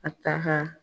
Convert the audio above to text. A ta ka